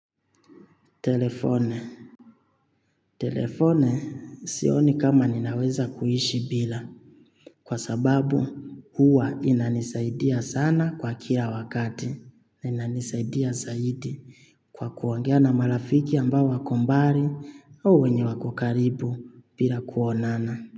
Telefoni. Telefoni sioni kama ninaweza kuishi bila. Kwa sababu huwa inanisaidia sana kwa kila wakati. Inanisaidia zaidi kwa kuongea na marafiki ambao wako mbali au wenye wako karibu bila kuonana.